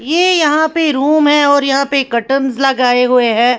ये यहां पे रूम है और यहां पे कर्टन्स लगाए हुए हैं।